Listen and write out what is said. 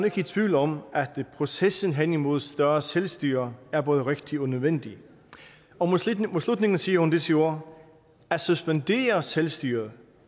ikke i tvivl om at processen hen imod større selvstyre er både rigtig og nødvendig og mod slutningen siger hun disse ord at suspendere selvstyret